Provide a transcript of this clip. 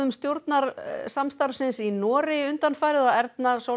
stjórnarsamstarfsins í Noregi undanfarið og Erna